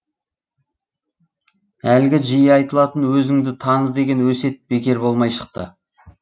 әлгі жиі айтылатын өзіңді таны деген өсиет бекер болмай шықты